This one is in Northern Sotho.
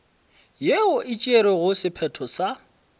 yeo e tšerego sephetho sa